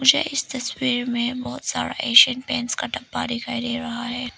मुझे इस तस्वीर में बहुत सारा एशियन पेंट्स का डब्बा दिखाई दे रहा है।